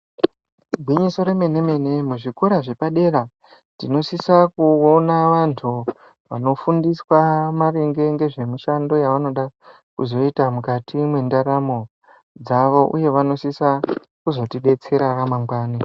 Gwinyiso remene mene muzvikora zvepadera tinosisa kuona vantu vanofundiswa maringe ngezvemushando yevanoda kuzoita mukati mwendaramo dzavo uye vanosisa kuzotidetsera ramangwani.